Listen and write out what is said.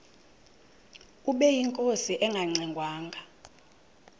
ubeyinkosi engangxe ngwanga